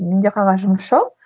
менде қағаз жұмыс жоқ